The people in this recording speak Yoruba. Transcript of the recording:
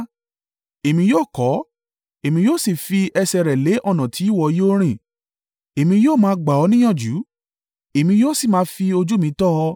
Èmi yóò kọ́ ọ, èmi yóò sì fi ẹsẹ̀ rẹ lé ọ̀nà tí ìwọ yóò rìn èmi yóò máa gbà ọ́ ní ìyànjú, èmi yóò sì máa fi ojú mi tọ́ ọ.